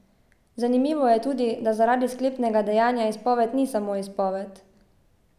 Zanimivo je tudi, da zaradi sklepnega dejanja izpoved ni samo izpoved.